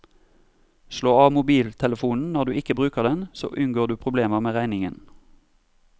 Slå av mobiltelefonen når du ikke bruker den, så unngår du problemer med regningen.